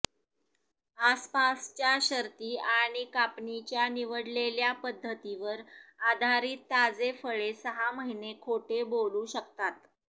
आसपासच्या शर्ती आणि कापणीच्या निवडलेल्या पध्दतीवर आधारीत ताजे फळे सहा महिने खोटे बोलू शकतात